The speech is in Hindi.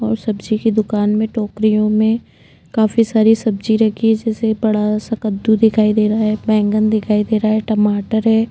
और सब्जी की दुकान में टोकरियों में काफी सारी सब्जी रखी है जैसे बड़ा सा कद्दू दिखाई दे रहा है बैगन दिखाई दे रहा है टमाटर है।